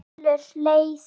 Nú skilur leiðir.